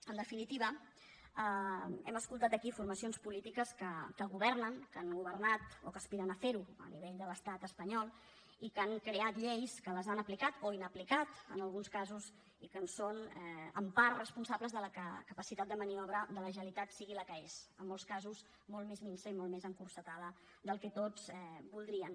en definitiva hem escoltat aquí formacions polítiques que governen que han governat o que aspiren a fer ho a nivell de l’estat espanyol i que han creat lleis que les han aplicat o inaplicat en alguns casos i que són en part responsables que la capacitat de maniobra de la generalitat sigui la que és en molts casos molt més minsa i molt més encotillada del que tots voldríem